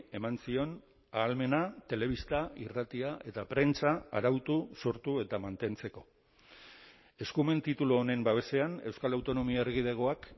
eman zion ahalmena telebista irratia eta prentsa arautu sortu eta mantentzeko eskumen titulu honen babesean euskal autonomia erkidegoak